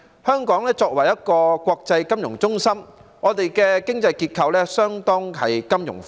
香港作為一個國際金融中心，經濟結構相當金融化。